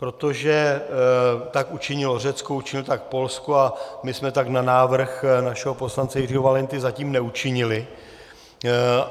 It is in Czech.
Protože tak učinilo Řecko, učinilo tak Polsko a my jsme tak na návrh našeho poslance Jiřího Valenty zatím neučinili.